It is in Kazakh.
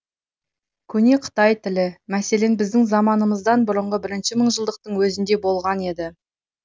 көне қытай тілі мәселен біздің заманымыздан бұрынғы бірінші мыңжылдықтың өзінде болған еді